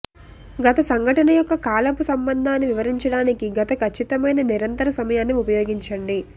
గత సంఘటన యొక్క కాలపు సంబంధాన్ని వివరించడానికి గత ఖచ్చితమైన నిరంతర సమయాన్ని ఉపయోగించండి